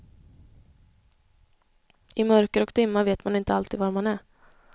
I mörker och dimma vet man inte alltid var man är.